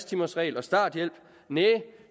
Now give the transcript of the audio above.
timers regel og starthjælp næh